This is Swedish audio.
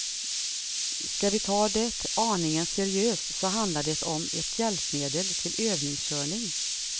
Skall vi ta det aningen seriöst så handlar det om ett hjälpmedel till övningskörning.